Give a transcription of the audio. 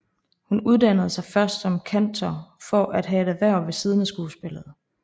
Hun uddannde sig først som kantor for at have et et erhverv ved siden af skuespillet